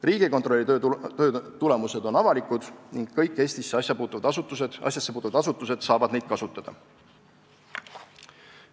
Riigikontrolli töö tulemused on avalikud ning kõik Eesti asjassepuutuvad asutused saavad neid kasutada.